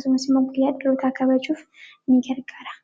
karaalee garaa garaatiin ibsamuu danda'a.